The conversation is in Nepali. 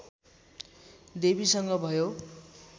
देवीसँग भयो